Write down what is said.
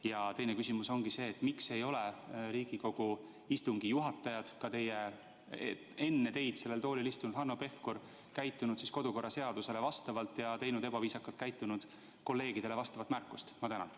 Ja teine küsimus oli selline: miks ei ole Riigikogu istungi juhatajad, ka enne teid sellel toolil istunud Hanno Pevkur, käitunud kodu- ja töökorra seadusele vastavalt ja teinud ebaviisakalt käitunud kolleegidele märkust?